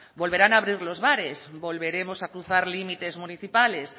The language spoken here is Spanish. volverán a abrir los bares volveremos a cruzar límites municipales